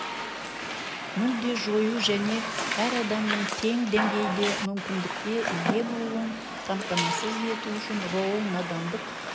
мүлде жою және әр адамның тең деңгейде мүмкіндікке ие болуын қамтамасыз ету үшін роул надандық